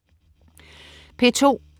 P2: